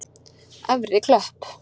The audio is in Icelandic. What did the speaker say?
Efri Klöpp